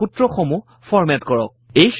আপোনাৰ সূত্ৰ সমূহ ফৰ্মেট কৰক